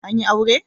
An yi aure?